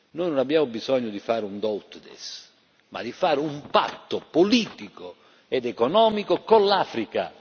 Noi non abbiamo bisogno di fare un do ut des ma di fare un patto politico ed economico con l'Africa.